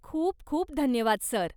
खूप खूप धन्यवाद सर!